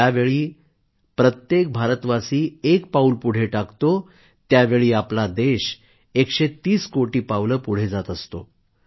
ज्यावेळी प्रत्येक भारतवासी एक पाऊल पुढे टाकतो त्यावेळी आपला देश 130 कोटी पावलं पुढे जात असतो